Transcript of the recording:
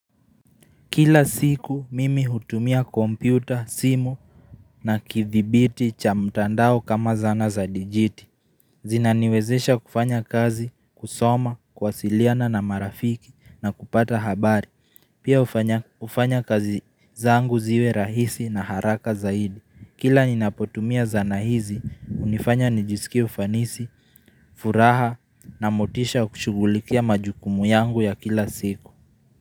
Kila siku mimi hutumia kompyuta, simu na kithibiti cha mtandao kama zana za dijiti. Zinaniwezesha kufanya kazi, kusoma, kwasiliana na marafiki na kupata habari. Pia hufanya kazi zangu ziwe rahisi na haraka zaidi. Kila ninapotumia zana hizi, hunifanya nijisikie ufanisi, furaha na motisha kushugulikia majukumu yangu ya kila siku.